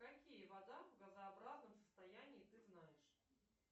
какие вода в газообразном состоянии ты знаешь